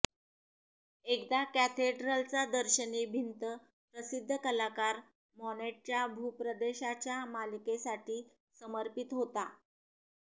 एकदा कॅथेड्रलचा दर्शनी भिंत प्रसिद्ध कलाकार मॉनेटच्या भूप्रदेशाच्या मालिकेसाठी समर्पित होता